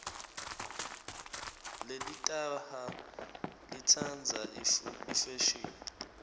lelitaha litsandza ifeshini